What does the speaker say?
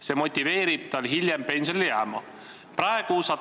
See motiveerib teda hiljem pensionile jääma.